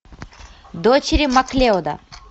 дочери маклеода